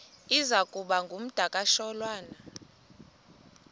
iza kuba ngumdakasholwana